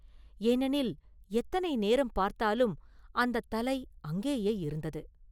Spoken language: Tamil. ஏனெனில், எத்தனை நேரம் பார்த்தாலும் அந்தத் தலை அங்கேயே இருந்தது.